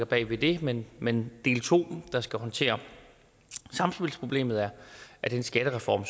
bag ved det men men del to der skal håndtere samspilsproblemet er er den skattereform